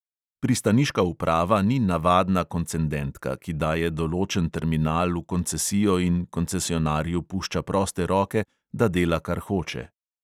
Pristaniška uprava ni navadna koncendentka, ki daje določen terminal v koncesijo in koncesionarju pušča proste roke, da dela, kar hoče.